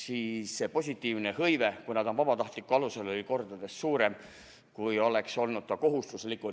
Kui see on vabatahtlikkuse alusel, on positiivne hõive kordades suurem, kui oleks kohustuslikult.